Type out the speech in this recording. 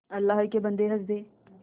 अल्लाह के बन्दे हंस दे